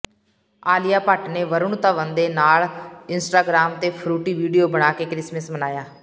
ਆਲੀਆ ਭੱਟ ਨੇ ਵਰੁਣ ਧਵਨ ਦੇ ਨਾਲ ਇੰਸਟਾਗ੍ਰਾਮ ਤੇ ਫਰੂਟੀ ਵੀਡੀਓ ਬਣਾ ਕੇ ਕ੍ਰਿਸਮਸ ਮਨਾਇਆ